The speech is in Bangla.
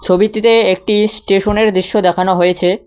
ছবিটিতে একটি স্টেশনের দৃশ্য দেখানো হয়েছে।